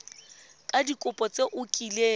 ka dikopo tse o kileng